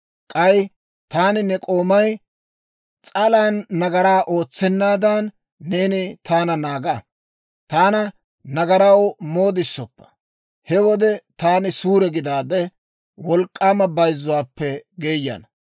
K'ay taani, ne k'oomay, S'alan nagaraa ootsennaadan, neeni taana naaga. Taana nagaraw moodisoppa; he wode taani suure gidaade, wolk'k'aama bayzzuwaappe geeyana.